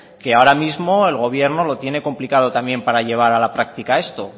que ahora mismo el gobierno lo tiene complicado para llevar a la práctica esto